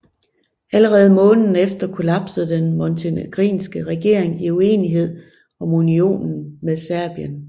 Allerede måneden efter kollapsede den montenegrinske regering i uenighed om unionen med Serbien